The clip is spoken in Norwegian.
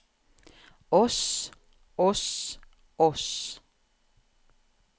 oss oss oss